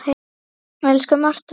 Elsku Marta mín.